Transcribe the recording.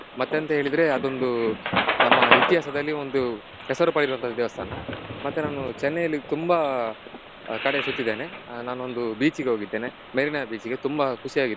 ಮತ್ತೆಂತ ಹೇಳಿದ್ರೆ ಅದೊಂದು ನಮ್ಮ ಇತಿಹಾಸದಲ್ಲಿ ಒಂದು ಹೆಸರು ಪಡೆದಿರುವಂತದು ದೇವಸ್ತಾನ ಮತ್ತೆ ನಾನು ಚೆನ್ನೈ ಯಲ್ಲಿ ತುಂಬಾ ಕಡೆ ಸುತ್ತಿದ್ದೇನೆ. ಆ ನಾನೊಂದು beach ಇಗೆ ಹೋಗಿದ್ದೇನೆ Marina Beach ಇಗೆ ತುಂಬ ಖುಷಿಯಾಗಿತ್ತು